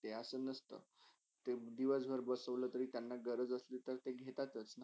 ते असे नसत एक दिवसभर बसवले तर त्यांना गरज असली तर त्यांना ते घेतातच.